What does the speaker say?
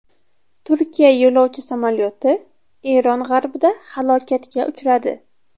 Turkiya yo‘lovchi samolyoti Eron g‘arbida halokatga uchradi.